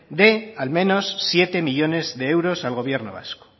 de al menos siete millónes de euros al gobierno vasco